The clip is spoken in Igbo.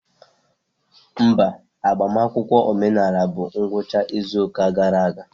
Mba, agbamakwụkwọ omenala bụ ngwụcha izu ụka gara aga.